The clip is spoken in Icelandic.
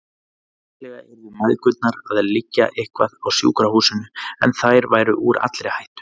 Líklega yrðu mæðgurnar að liggja eitthvað á sjúkrahúsinu, en þær væru úr allri hættu.